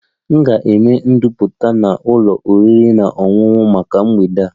M ga-eme ndoputa na ụlọ oriri na ọṅụṅụ maka mgbede a